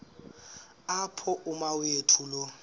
apho umawethu lo